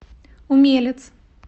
умелец